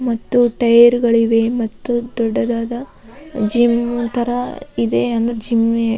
ಮತ್ತು ಟೈರ್ ಗಳಿವೆ ಮತ್ತು ದೊಡ್ಡದಾದ ಜಿಮ್ ತರ ಇದೆ ಅಂದ್ರೆ ಜಿಮ್ಮೆ --